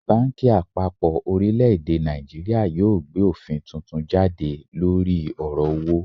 Banki apapo orileede Naijiria yoo gbe ofin tuntun jade lori oro owo